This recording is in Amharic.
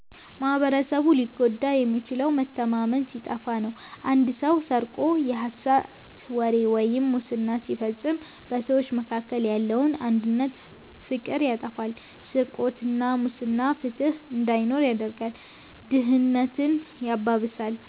ማኅበረሰቡ ሊጎዳ የሚችለው መተማመን ሲጠፋ ነው። አንድ ሰው ስርቆት፣ የሐሰት ወሬ ወይም ሙስና ሲፈጽም በሰዎች መካከል ያለውን አንድነትና ፍቅር ያጠፋዋል። ስርቆትና ሙስና ፍትሕ እንዳይኖር ያደርጋል፣ ድህነትን ያባብሳል፣